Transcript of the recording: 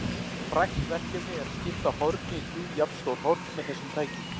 Frægt verkefni er að skipta horni í þrjú jafnstór horn með þessum tækjum.